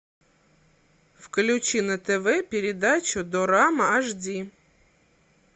включи на тв передачу дорама аш ди